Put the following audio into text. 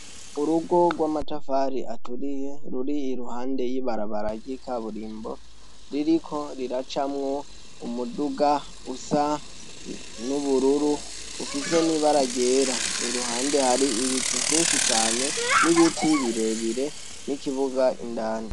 Urugo rw'amatafari aturiye, ruri iruhande y'ibarabara ry'ikaburimbo, ririko riracamwo umuduga usa n'ubururu ufise n'ibara ryera, iruhande hari ibicu vyinshi cane, n'ibiti birebire n'ikibuga indani.